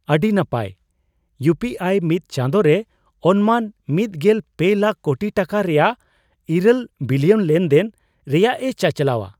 ᱟᱹᱰᱤ ᱱᱟᱯᱟᱭ ! ᱤᱭᱯᱤᱟᱭ ᱢᱤᱫ ᱪᱟᱸᱫᱚ ᱨᱮ ᱚᱱᱢᱟᱱ ᱑᱓ ᱞᱟᱠᱷ ᱠᱳᱴᱤ ᱴᱟᱠᱟ ᱨᱮᱭᱟᱜ ᱘ ᱵᱤᱞᱤᱭᱚᱱ ᱞᱮᱱᱫᱮᱱ ᱨᱮᱭᱟᱜᱼᱮ ᱪᱟᱪᱟᱞᱟᱣᱼᱟ ᱾